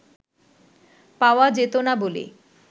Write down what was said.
পাওয়া যেত না বলে